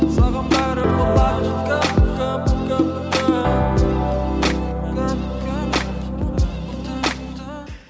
саған бәрі болады бүгін бүгін